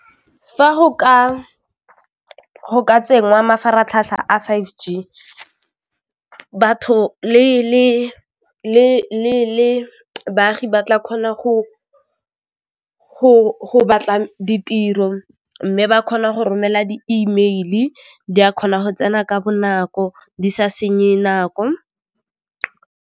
Fa go ka tsenngwa mafaratlhatlha a five G, batho le baagi ba tla kgona go batla ditiro mme ba kgona go romela di email-i di a kgona go tsena ka bonako di sa senye nako.